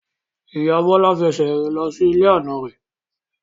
Ìyá Bọlá fẹsẹ̀ rìn lọ ilé àna rẹ̀